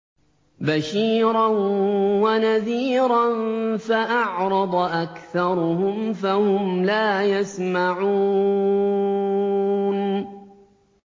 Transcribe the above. بَشِيرًا وَنَذِيرًا فَأَعْرَضَ أَكْثَرُهُمْ فَهُمْ لَا يَسْمَعُونَ